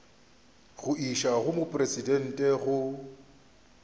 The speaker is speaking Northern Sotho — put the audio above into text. go išwa go mopresidente go